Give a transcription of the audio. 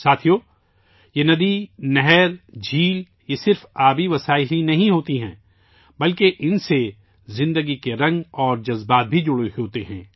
ساتھیو، یہ ندی، نہر، سرور صرف آبی ذخائر ہی نہیں ہوتے ہیں بلکہ ان سے زندگی کے رنگ اور جذبات بھی جڑے ہوتے ہیں